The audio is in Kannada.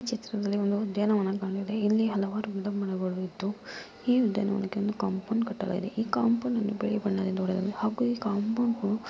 ಈ ಚಿತ್ರದಲ್ಲಿ ಒಂದು ಉದ್ಯಾನವನ ಕಂಡಿವೆ ಇಲ್ಲಿ ಹಲವಾರು ಗಿಡಮರಗಳು ಇದ್ದು ಈ ಉದ್ಯಾವನಕೆ ಒಂದು ಕಾಂಪೌಂಡ್ ಕಟ್ಟಲಾಗಿದೆ. ಈ ಕಾಂಪೌಂಡನ್ನು ಬಿಳಿ ಬಣ್ಣದಿಂದ ಹೊಡೆದಿದ್ದಾರೆ ಹಾಗೂ ಈ ಕಾಂಪೌಂಡನ್ನು --